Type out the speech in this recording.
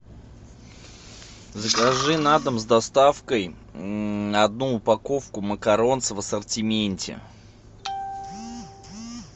закажи на дом с доставкой одну упаковку макарон в ассортименте